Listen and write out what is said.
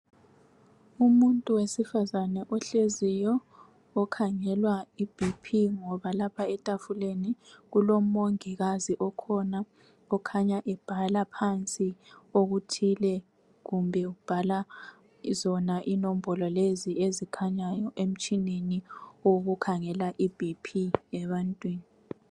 Umuntu wesifazane ohleziyo okhangelwa I BP ngoba lapha etafuleni kulomongikazi okhona okhanya ebhala phansi okuthile kumbe ubhala zona inombolo lezi ezikhanyayo emtshineni wokukhangela i BP ebantwini.